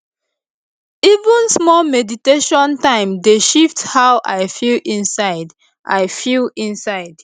even small meditation time dey shift how i feel inside i feel inside